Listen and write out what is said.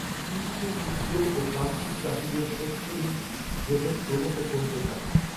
কৃষিতে ক্ষুদ্র ও প্রান্তিক চাষিদের, শস্যঋণ গ্রহণ ক্রমশ, কমতে থাকে